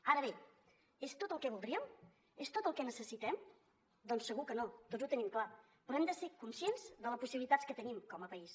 ara bé és tot el que voldríem és tot el que necessitem doncs segur que no tots ho tenim clar però hem de ser conscients de les possibilitats que tenim com a país